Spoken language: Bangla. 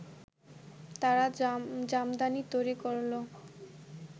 তারা জামদানি তৈরি করলেও